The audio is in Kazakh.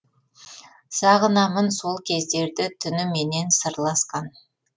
сағынамын сол кездерді түніменен сырласқан